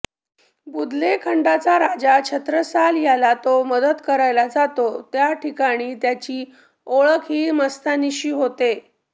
बुदलेखंडाचा राजा छत्रसाल याला तो मदत करायला जातो त्या ठिकाणी त्याची ओळख ही मस्तानीशी होते